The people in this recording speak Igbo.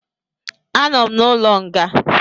Anọ m n'ụlọ nga